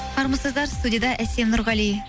армысыздар студияда әсел нұрғали